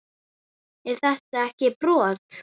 Er þetta ekki brot?